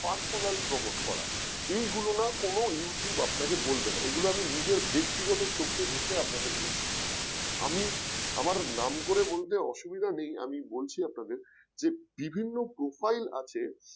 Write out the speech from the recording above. personal promote করা এগুলো না কোন youtube আপনাকে বলবে না এগুলো আমি নিজের ব্যক্তিগত চোখে দেখে আপনাদের বলছি আমি আমার নাম করে বলতে অসুবিধা নেই আমি বলছি আপনাদের যে বিভিন্ন profile আছে